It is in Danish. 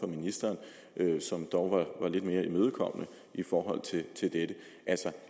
ministeren som dog var lidt mere imødekommende i forhold til dette altså